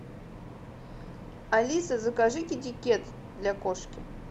алиса закажи китикет для кошки